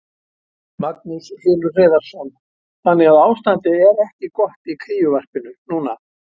Magnús Hlynur Hreiðarsson: Þannig að ástandið er ekki gott í kríuvarpinu núna?